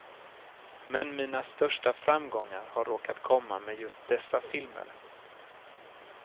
Men mina största framgångar har råkat komma med just dessa filmer.